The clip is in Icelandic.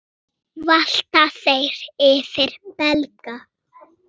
Nú valta þeir yfir Belga.